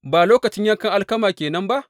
Ba lokacin yankan alkama ke nan ba?